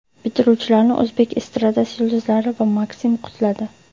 Bitiruvchilarni o‘zbek estradasi yulduzlari va MakSim qutladi .